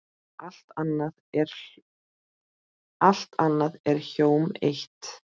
Allt annað er hjóm eitt.